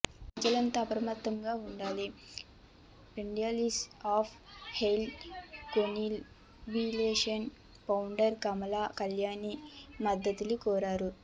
ప్రజలంతా అప్రమత్తంగా ఉండాలని ఫెడల్పియా of health collaboration founder Kamala Kalyani Maddali కోరారు